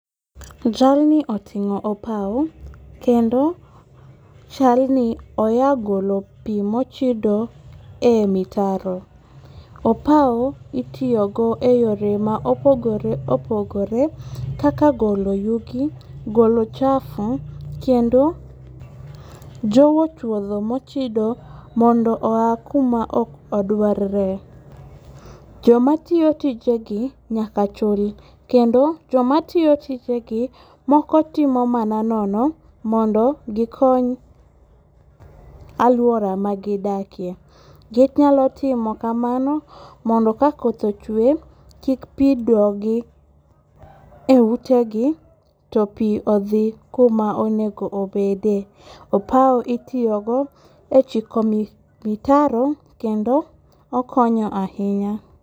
Jalni otingo opawu kendo chalni oya golo pi mochido e mitaro. Opau itiyogo e yore ma opogore opogore, kaka golo yugi , golo ochafu, kendo jowo chuotho mochido mondo ya kuma ok odwarre, jomatiyo tijegi nyaka chul kendo, jomatiyo tijegi moko tiyo mana nono mondo gikony aluora magidakie, ginyalo timo kamano mondo ka koth ochwe kik pi dogi e utegi to pi odhi kuma onego obedie, opao itiyogo e chiko mitaro kendo okonyo ahinya